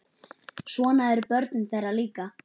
Svona eru börnin þeirra líka.